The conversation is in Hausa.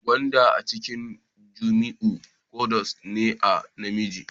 Gwanda a cikin Jamiu gwads ne na namiji